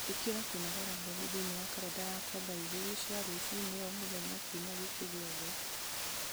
ĩkĩra kũnogora mwĩrĩ thĩinĩ wa karenda yakwa thaa igĩrĩ cia rũci-inĩ o mũthenya kiumia gĩkĩ gĩothe